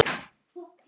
Ég þekki